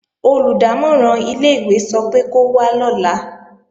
Olùdámọ̀ràn ilé-ìwé sọ pé kó wá lọ́la